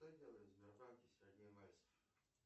что делает в сбербанке сергей мальцев